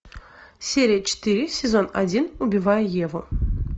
серия четыре сезон один убивая еву